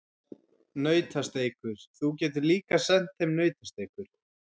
Nautasteikur, þú getur líka sent þeim nautasteikur.